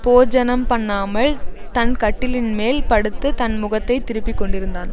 போஜனம்பண்ணாமல் தன் கட்டிலின்மேல் படுத்து தன் முகத்தை திருப்பிக்கொண்டிருந்தான்